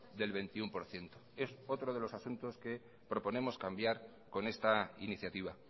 del veintiuno por ciento es otro de los asuntos que proponemos cambiar con esta iniciativa